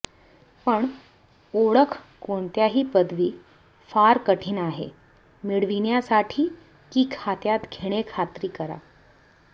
पण ओळख कोणत्याही पदवी फार कठीण आहे मिळविण्यासाठी की खात्यात घेणे खात्री करा